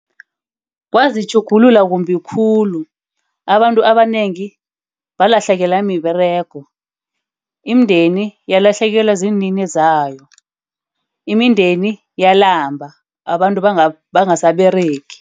Kwazitjhugulula kumbi khulu. Abantu abanengi balahlekelwa miberego. Imindeni yokulahlekelwa ziinini zayo. Imindeni yalamba. Abantu bangasaberegisi.